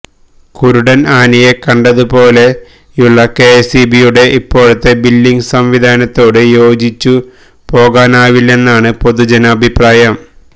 കുരുടന് ആനയെ കണ്ടത് പോലുള്ള കെഎസ്ഇബിയുടെ ഇപ്പോഴത്തെ ബില്ലിംഗ് സംവിധാനത്തോട് യോജിച്ചുപോകാനാവില്ലെന്നാണ് പൊതുജനാഭിപ്രായം